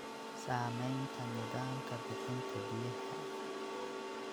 Saamaynta nidaamka bixinta biyaha.